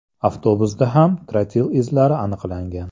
Avtobusda ham trotil izlari aniqlagan.